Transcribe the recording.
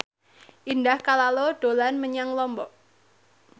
Indah Kalalo dolan menyang Lombok